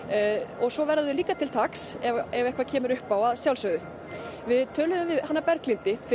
og svo verða þeir líka til taks ef eitthvað kemur upp á að sjálfsögðu við töluðum við hana Berglindi fyrr